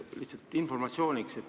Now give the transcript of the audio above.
Küsin lihtsalt informatsiooni saamiseks.